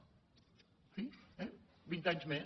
en fi vint anys més